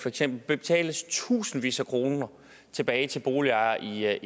eksempel betales tusindvis af kroner tilbage til boligejere